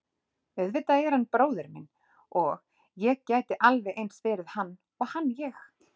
Auðvitað er hann bróðir minn og ég gæti alveg eins verið hann og hann ég.